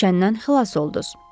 Çəndən xilas olduz.